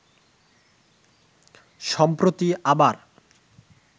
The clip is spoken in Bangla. সম্প্রতি আবার